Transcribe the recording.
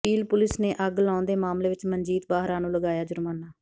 peel police ਨੇ ਅੱਗ ਲਾਉਣ ਦੇ ਮਾਮਲੇ ਵਿੱਚ ਮਨਜੀਤ ਬਾਹਰਾ ਨੂੰ ਲਗਾਇਆ ਜੁਰਮਾਨਾ